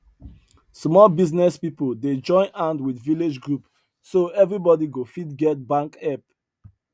small business people dey join hand with village group so everybody go fit get bank help